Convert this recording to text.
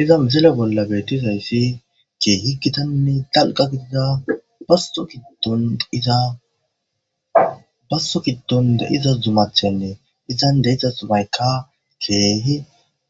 Iza muzele bollabe dizayssi ke higitanne talqa gidida baso giddonizabasto giddonde iza zumathenne izan deyidza zumayka teehi